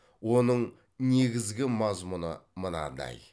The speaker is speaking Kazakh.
оның негізгі мазмұны мынадай